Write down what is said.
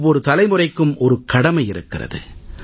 ஒவ்வொரு தலைமுறைக்கும் ஒரு கடமை இருக்கிறது